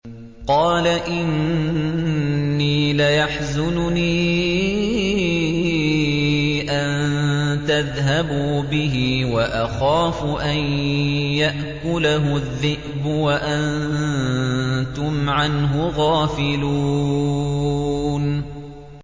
قَالَ إِنِّي لَيَحْزُنُنِي أَن تَذْهَبُوا بِهِ وَأَخَافُ أَن يَأْكُلَهُ الذِّئْبُ وَأَنتُمْ عَنْهُ غَافِلُونَ